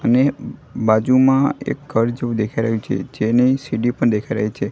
અને બાજુમાં એક ઘર જેવું દેખાય રહ્યું છે જેની સીડી પણ દેખાય રહી છે.